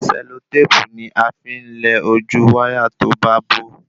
Sẹlotépù ni afi n lẹ ojú wáyà to ba bo